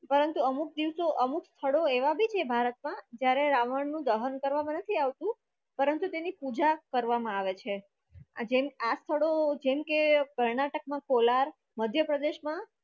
પરંતુ અમુક દિવસે અમુક સ્થળો એવા પણ છે ભારતમાં જ્યારે રાવણનું દહન કરવામાં નથી આવતું પરંતુ તેની પૂજા કરવામાં આવે છે જેમા સ્થળો જેમકે કર્ણાટકમાં કોલાર મધ્યપ્રદેશમાં